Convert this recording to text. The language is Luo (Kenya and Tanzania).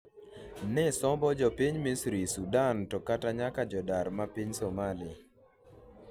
ne sombo jopiny Misri, Sudan to kata nyaka jodar ma piny Somali